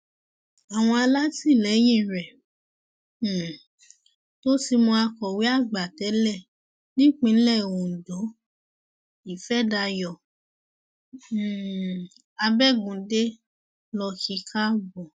àwọn alátìlẹyìn rẹ um tó fi mọ akọwé àgbà tẹlẹ nípìnlẹ ondo ìfẹdàyò um abẹgùndẹ ló kí i káàbọ